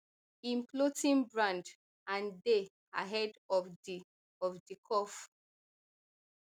im clothing brand and dey ahead of di of di curve